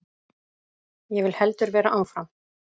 Ég vil heldur vera áfram.